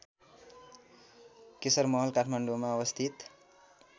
केशरमहल काठमाडौँमा अवस्थित